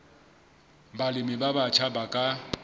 balemi ba batjha ba ka